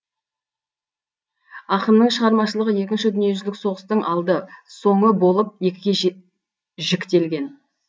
ақының шығармашылығы екінші дүниежүзілік соғыстың алды соңы болып екіге жіктелген